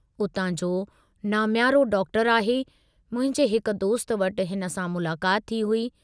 उतां जो नामियारो डॉक्टर आहे, मुंहिंजे हिक दोस्त वटि हिन सां मुलाकात थी हुई।